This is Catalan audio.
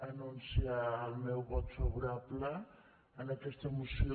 anunciar el meu vot favorable a aquesta moció